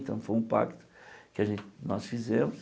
Então, foi um pacto que a gen nós fizemos.